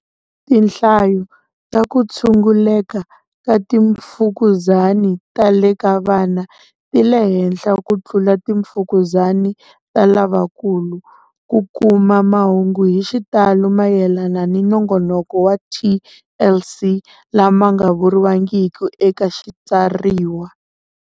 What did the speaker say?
Tinhlayo ta ku tshunguleka ka timfukuzani ta le ka vana ti le henhla ku tlula timfukuzani ta lavakulu. Ku kuma mahungu hi xitalo mayelana na Nongonoko wa TLC lama nga vuriwangiki eka xitsariwa.